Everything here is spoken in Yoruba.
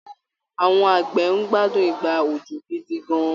Àwọn àgbẹ̀ ń gbádùn ìgbà òjò gidi gan-an